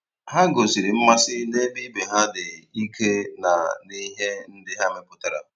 Ha gosiri mmasị na-ebe ibe ha dị ike na n'ihe ndị ha mepụtara.